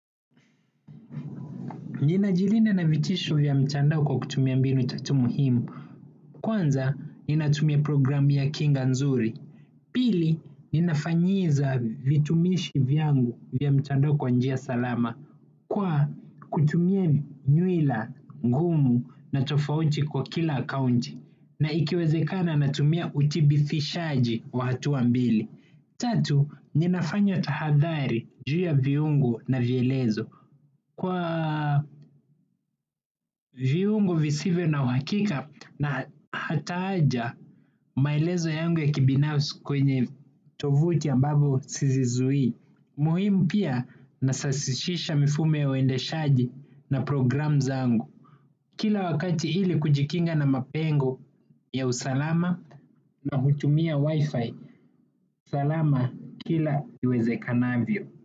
Ninajilinda na vitisho vya mitandao kwa kutumia mbinu tatu muhimu, kwanza ninatumia program ya kinga nzuri. Pili, ninafanyiza vitumishi vyangu vya mtandao kwa njia salama, kwa kutumia nyuila ngumu na tofauti kwa kila akaunti. Na ikiwezekana natumia uthibitishaji wa hatua mbili. Tatu, ninafanya tahadhari juu ya viungu na vielezo. Kwa viungo visivyo na uhakika na hata aja maelezo yangu ya kibinafsi kwenye tovuti ambazo sizizui. Muhimu pia nasahishisha mifumo ya uendeshaji na programu zaangu. Kila wakati ili kujikinga na mapengo ya usalama na hutumia wifi, salama kila iwezekanavyo.